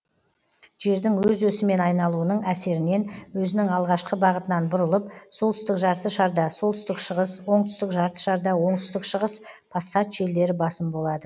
жердің өз өсімен айналуының әсерінен өзінің алғашқы бағытынан бұрылып солтүстік жарты шарда солтүстік шығыс оңтүстік жарты шарда оңтүстік шығыс пассат желдері басым болады